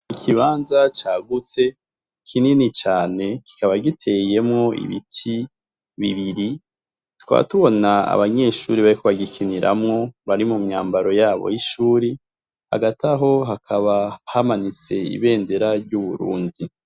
Ikibanza cagutse kinini cane, kikaba giteyemwo ibiti bibiri, tukaba tubona abanyeshure bariko bagikiniramwo bari mu myambaro yabo y'ishure, hagati aho hakaba hamanitse ibendera ryu Burundi.